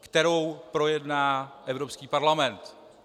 kterou projedná Evropský parlament.